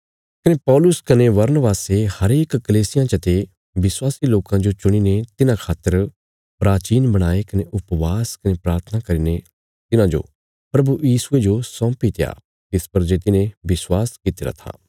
कने पौलुस कने बरनबासे हरेक कलीसियां चते विश्वासी लोकां जो चुणीने तिन्हां खातर प्राचीन बणाये कने उपवास कने प्राथना करीने तिन्हांजो प्रभु यीशुये जो सौंपीत्या तिस पर जे तिन्हें विश्वास कित्तिरा था